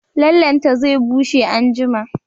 Lallenta zai bushe anjima